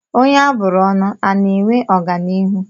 Onye a bụrụ ọnụ ana-enwe ọganihu?